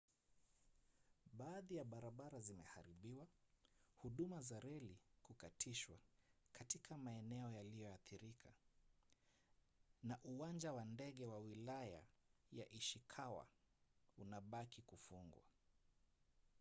baadhi ya barabara zimeharibiwa huduma za reli kukatishwa katika maeneo yaliyoathirika na uwanja wa ndege wa wilaya ya ishikawa unabaki kufungwa